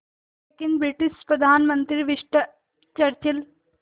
लेकिन ब्रिटिश प्रधानमंत्री Winston Churchill